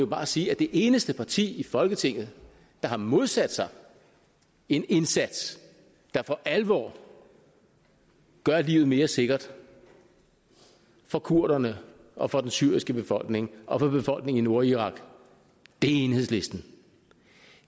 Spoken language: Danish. bare sige at det eneste parti i folketinget der har modsat sig en indsats der for alvor gør livet mere sikkert for kurderne og for den syriske befolkning og for befolkningen i nordirak er enhedslisten